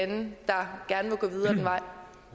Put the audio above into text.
det der